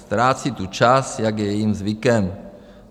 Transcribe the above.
Ztrácí tu čas, jak je jejím zvykem.